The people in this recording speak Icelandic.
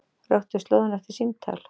Röktu slóðina eftir símtal